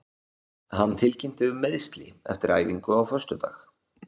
Hann tilkynnti um meiðsli eftir æfingu á föstudag.